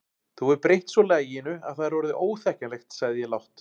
Þú hefur breytt svo laginu að það er orðið óþekkjanlegt sagði ég lágt.